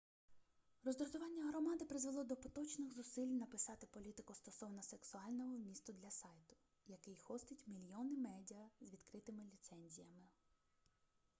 роздратування громади призвело до поточних зусиль написати політику стосовно сексуального вмісту для сайту який хостить мільйони медіа з відкритими ліцензіями